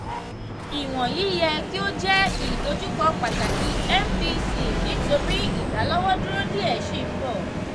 iwọnyi yẹ ki o jẹ idojukọ pataki mpc nitori idalọwọduro diẹ sii n bọ.